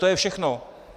To je všechno.